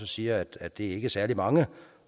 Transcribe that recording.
siger også at det ikke er særlig mange